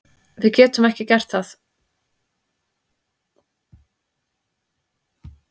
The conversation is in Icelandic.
Við getum ekki gert það